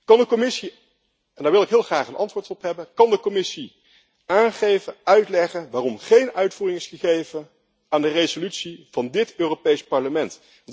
Kan de Commissie en daar wil ik heel graag een antwoord op hebben kan de Commissie aangeven, uitleggen waarom geen uitvoering is gegeven aan de resolutie van dit Europees Parlement?